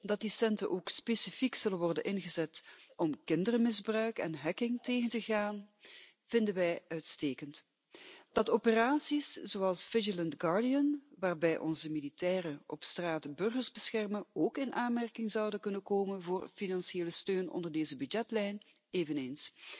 Dat die centen ook specifiek zullen worden ingezet om kindermisbruik en hacking tegen te gaan, vinden wij uitstekend. Dat operaties zoals vigilant guardian waarbij onze militairen op straat de burgers beschermen, ook in aanmerking zouden kunnen komen voor financiële steun onder deze begrotingslijn eveneens.